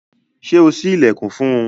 Ṣe o ṣi ilẹkun fún un?